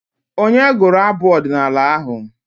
Onye gụrụ abụ ọdịnaala ahụ?